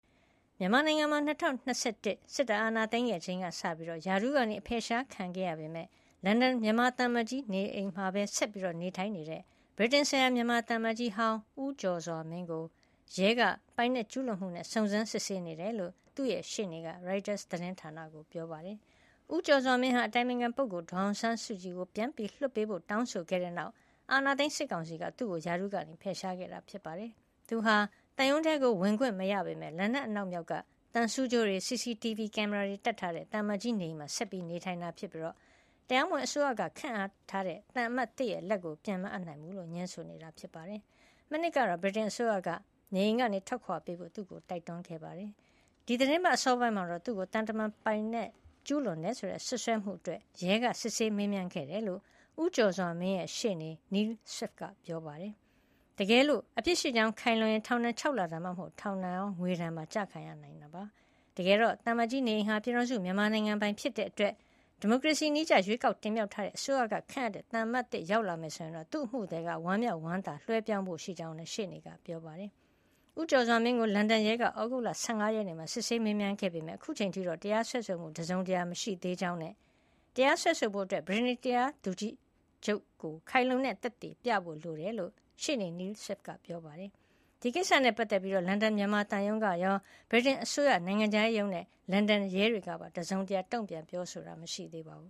မြန်မာနိုင်ငံမှာ ၂၀၂၁ စစ်တပ်အာဏာသိမ်းခဲ့ချိန်ကစပြီး ရာထူးကအဖယ်ရှားခံခဲ့ရပေမယ့် လန်ဒန်မြန်မာသံအမတ်ကြီးနေအိမ်မှာပဲ ဆက်လက်နေထိုင်နေတဲ့ ဗြိတိန်ဆိုင်ရာ မြန်မာသံအမတ်ကြီးဟောင်း ဦးကျော်စွာမင်းကို ရဲက ပိုင်နက်ကျူးလွန်မှုနဲ့ စုံစမ်း စစ်ဆေးနေတယ်လို့ သူ့ရှေ့နေက ရိုက်တာသတင်းဌာနကို ပြောပါတယ်။ ဦးကျော်စွာမင်းဟာ အတိုင်ပင်ခံပုဂ္ဂိုလ် ဒေါ်အောင်ဆန်းစုကြည်ကို ပြန်လွှတ်ပေးဖို့ တောင်းဆိုခဲ့တဲ့နောက် အာဏာသိမ်းစစ်ကောင်စီက သူ့ကို ရာထူးကဖယ်ရှားခဲ့တာ ဖြစ်ပါတယ်။ သူဟာ သံရုံးထဲ ဝင်ခွင့်မရပေမယ့် လန်ဒန်အနောက်မြောက်က သံဆူးကြိုးတွေ CCTV ကင်မရာတွေတပ်ထားတဲ့ သံအမတ်ကြီးနေအိမ်မှာ ဆက်လက်နေထိုင်နေတာ ဖြစ်ပြီး တရားမဝင်အစိုးရက ခန့်ထားတဲ့သံအမတ်သစ် လက်ကို ပြန်မအပ်နိုင်ကြောင်း ငြင်းဆိုနေတာပါ။ မနှစ်ကတော့ ဗြိတိန်အစိုးရက နေအိမ်ကနေ ထွက်ခွါပေးဖို့ သူ့ကိုတိုက်တွန်းခဲ့ပါတယ်။ ဒီသီတင်းပတ်အစောပိုင်းမှာတော့ သူ့ကို သံတမန်ပိုင်နက်ကျူးလွန်တယ်ဆိုတဲ့ စွပ်စွဲမှုအတွက် ရဲကစစ်ဆေးမေးမြန်းခဲ့တယ်လို့ ဦးကျော်စွာမင်းရဲ့ ရှေ့နေ Neil Swift က ပြောပါတယ်။ တကယ်လို့ အပြစ်ရှိကြောင်းခိုင်လုံရင် ထောင်ဒဏ် ၆ လ ဒါမှမဟုတ် ထောင်ဒဏ်ရော ငွေဒဏ်ပါ ကျခံရနိုင်တာပါ။ တကယ်တော့ သံအမတ်ကြီးနေအိမ်ဟာ ပြည်ထောင်စုမြန်မာနိုင်ငံပိုင်ဖြစ်တဲ့အတွက် ဒီမိုကရေစီနည်းကျ ရွေးကောက်တင်မြှောက်ထားတဲ့အစိုးရကခန့်အပ်တဲ့ သံအမတ်သစ် ရောက်လာမယ်ဆိုရင်တော့ သူ့အမှုသည်က ဝမ်းမြောက်ဝမ်းသာလွှဲပြောင်းပေးဖို့ရှိကြောင်းလည်း ရှေ့နေက ပြောပါတယ်။ ဦးကျော်စွာမင်းကို လန်ဒန်ရဲက သြဂုတ်လ ၁၅ ရက်နေ့မှာ စစ်ဆေးမေးမြန်းခဲ့ပေမယ့် အခုအချိန်ထိတော့ တရားစွဲဆိုမှု တစုံတရာမရှိသေးကြောင်းနဲ့ တရားစွဲဆိုဖို့ ဗြိတိန်တရားသူကြီးချုပ်ကို ခိုင်လုံတဲ့ သက်သေပြဖို့လိုကြောင်းလည်း ရှေ့နေ Neil Swift က ပြောပါတယ်။ ဒီကိစ္စနဲ့ပတ်သက်ပြီး လန်ဒန်မြန်မာသံရုံးကရော၊ ဗြိတိန်အစိုးရနိုင်ငံခြားရေးရုံးနဲ့ လန်ဒန်ရဲတွေက တစုံတရာ တုံ့ပြန် ပြောဆိုတာမရှိသေးပါဘူ